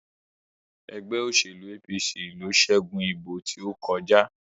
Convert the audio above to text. ègbé òṣèlú APC ló ṣẹgun ìbò tó kọjá